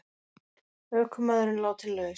Ökumaðurinn látinn laus